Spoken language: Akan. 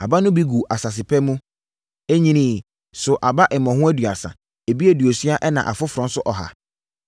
Aba no bi guu asase pa mu. Ɛnyiniiɛ, soo aba mmɔho aduasa; ebi aduosia ɛnna afoforɔ nso ɔha.